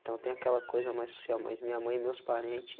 Então, tem aquela coisa mais social, mas minha mãe e meus parentes